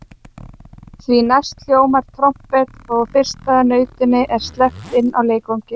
Því næst hljómar trompet og fyrsta nautinu er sleppt inn á leikvanginn.